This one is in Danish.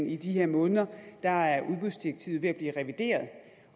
i de her måneder er er udbudsdirektivet ved at blive revideret